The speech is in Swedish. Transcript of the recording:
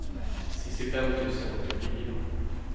sextiofem tusen åttiofyra